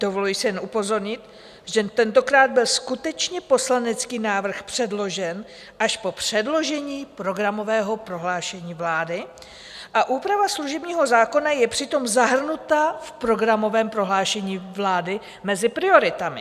Dovoluji si jen upozornit, že tentokrát byl skutečně poslanecký návrh předložen až po předložení programového prohlášení vlády a úprava služebního zákona je přitom zahrnuta v programovém prohlášení vlády mezi prioritami.